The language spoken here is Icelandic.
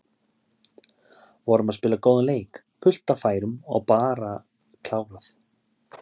Vorum að spila góðan leik, fullt af færum og bara klárað.